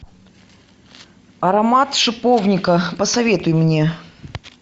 аромат шиповника посоветуй мне